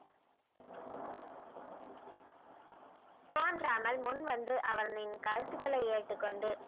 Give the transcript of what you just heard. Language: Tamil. தோன்றாமல் முன் வந்து அவனின் கருத்துக்களை ஏற்றுக்கொண்டு